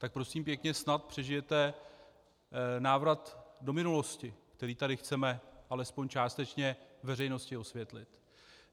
Tak prosím pěkně snad přežijete návrat do minulosti, který tady chceme alespoň částečně veřejnosti osvětlit.